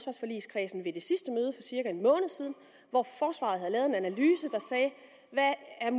cirka en måned siden hvor forsvaret havde